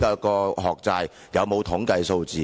是否有統計數字？